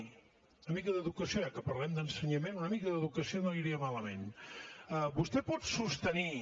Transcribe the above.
una mica d’educació eh ja que parlem d’ensenyament una mica d’educació no li aniria malament vostè pot sostenir